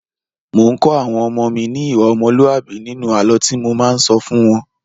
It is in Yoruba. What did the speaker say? Mò ń́ kọ́ àwọn ọmọ mi ní ìwà ọmọlúàbí nínú àlọ́ tí mo máa ń sọ fún wọ́n.